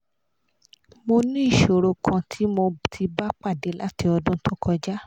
mo ní ìṣòro kan tí mo ti ba pade láti ọdún to kọjá